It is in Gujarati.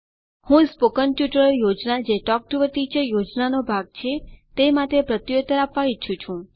હું સ્પોકન ટ્યુટોરીયલ યોજના જે ટોક ટુ અ ટીચર યોજના નો ભાગ છે તે માટે પ્રત્યુત્તર આપવા ઈચ્છું છું